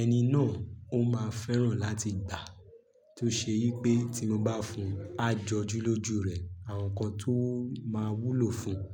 ẹni náà ó máa fẹ́ràn láti gbà á. Tó ṣe yí pé tí mo bá fún, á jọjú lójú rẹ̀ àwọn nǹkan tó máa wúlò fún un.